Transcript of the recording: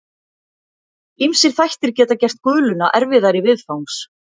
Ýmsir þættir geta gert guluna erfiðari viðfangs.